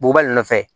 Bubali nɔfɛ